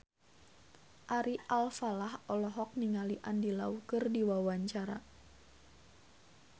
Ari Alfalah olohok ningali Andy Lau keur diwawancara